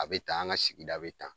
A be tan , an ka sigida be tan.